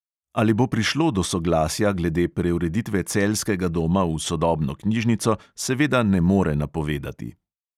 Ali bo prišlo do soglasja glede preureditve celjskega doma v sodobno knjižnico, seveda ne more napovedati.